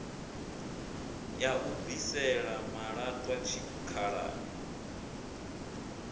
ya u bvisela malaṱwa tshikhalani